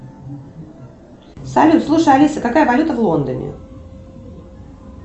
салют слушай алиса какая валюта в лондоне